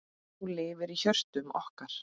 Þú lifir í hjörtum okkar.